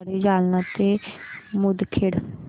आगगाडी जालना ते मुदखेड